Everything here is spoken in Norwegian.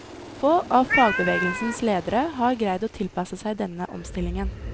Få av fagbevegelsens ledere har greid å tilpasse seg denne omstillingen.